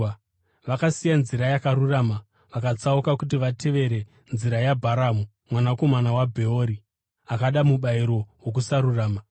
Vakasiya nzira yakarurama vakatsauka kuti vatevere nzira yaBharamu mwanakomana waBheori, akada mubayiro wokusarurama.